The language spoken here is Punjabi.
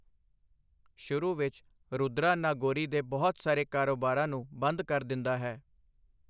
ਸ਼ੁਰੂ ਵਿੱਚ, ਰੁਦਰਾ ਨਾਗੋਰੀ ਦੇ ਬਹੁਤ ਸਾਰੇ ਕਾਰੋਬਾਰਾਂ ਨੂੰ ਬੰਦ ਕਰ ਦਿੰਦਾ ਹੈ।